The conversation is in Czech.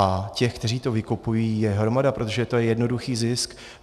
A těch, kteří to vykupují, je hromada, protože je to jednoduchý zisk.